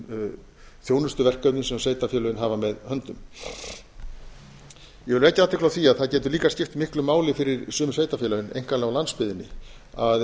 ólögbundnum þjónustuverkefnum sem sveitarfélögin hafa með höndum ég vil vekja athygli á því að það getur líka skipt miklu máli fyrir sum sveitarfélögin einkanlega á landsbyggðinni að